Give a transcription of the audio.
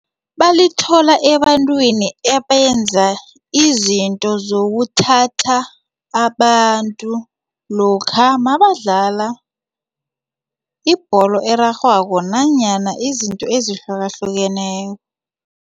Balithola ebantwini ebenza izinto zokuthatha abantu lokha mabadlala ibholo erarhwako nanyana izinto ezihlukahlukeneko.